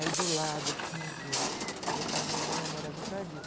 Aí, do lado, assim, eu... Porque é parto normal é uma maravilha, por causa disso.